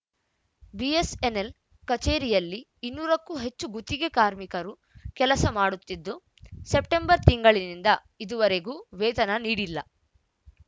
BSNL ಕಚೇರಿಯಲ್ಲಿ ಇನ್ನೂರಕ್ಕೂ ಹೆಚ್ಚು ಗುತ್ತಿಗೆ ಕಾರ್ಮಿಕರು ಕೆಲಸ ಮಾಡುತ್ತಿದ್ದು ಸೆಪ್ಟಂಬರ್‌ ತಿಂಗಳಿನಿಂದ ಇದುವರೆಗೂ ವೇತನ ನೀಡಿಲ್ಲ